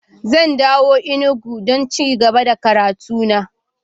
Zan dawo Enugu don ci gaba da karatu na.